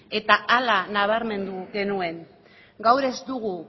eta hala nabarmendu genuen gaur ez dugu